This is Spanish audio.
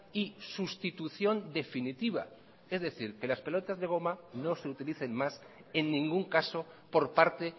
y sustitución definitiva es decir que las pelotas de goma no se utilicen más en ningún caso por parte